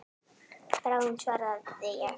Bráðum svaraði ég.